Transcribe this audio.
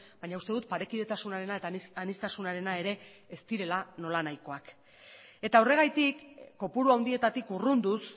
baina uste dut parekidetasunarena eta aniztasunarena ere ez direla nolanahikoak eta horregatik kopuru handietatik urrunduz